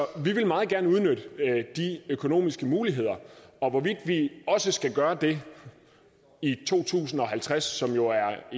vi vil meget gerne udnytte de økonomiske muligheder og hvorvidt vi også skal gøre det i to tusind og halvtreds som jo er